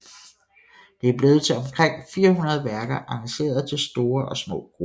Det er blevet til omkring 400 værker arrangeret til store og små grupper